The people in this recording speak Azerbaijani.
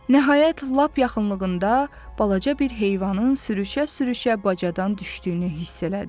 Nəhayət, lap yaxınlığında balaca bir heyvanın sürüşə-sürüşə bacadan düşdüyünü hiss elədi.